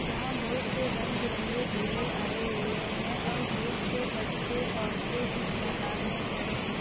जहाँ बहोत से रंग बिरंगे झूले आये हुए हैं और बहोत से बच्चे औरतें इस मैदान में खड़े हैं।